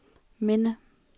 minde